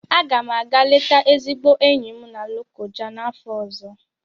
A ga m àgá leta ezigbo enyi m na Lokoja n'afọ ọzọ